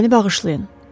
“Məni bağışlayın.